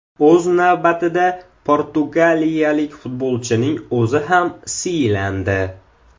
O‘z navbatida portugaliyalik futbolchining o‘zi ham siylandi.